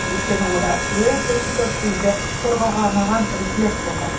өйткені онда өте көп бізді қорғауға арналған рефлекстер бар